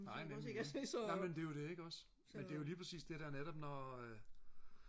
nej nemlig nej men det er jo det ikke også men det er jo lige præcis det der netop når øh